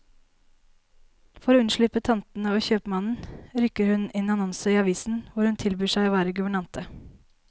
For å unnslippe tantene og kjøpmannen, rykker hun inn annonser i avisen hvor hun tilbyr seg å være guvernante.